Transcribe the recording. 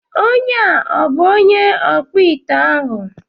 Onye a ọ bụ onye ọkpụite ahụ?